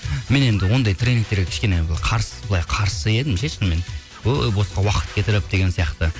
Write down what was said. мен енді ондай тренингтерге кішкене былай қарсы едім ше шынымен өй босқа уақыт кетіріп деген сияқты